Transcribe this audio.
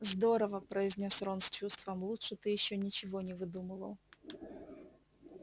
здорово произнёс рон с чувством лучше ты ещё ничего не выдумывал